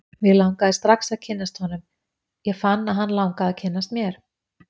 Mig langaði strax að kynnast honum, ég fann að hann langaði að kynnast mér.